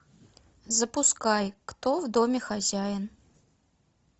запускай кто в доме хозяин